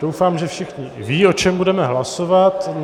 Doufám, že všichni vědí, o čem budeme hlasovat.